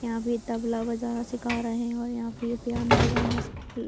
यहाँ पे तबला बजाना सीखा रहे है और यहाँ पे पियानु बजाना पील --